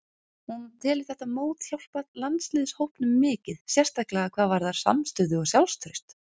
Hún telur þetta mót hjálpa landsliðshópnum mikið, sérstaklega hvað varðar samstöðu og sjálfstraust.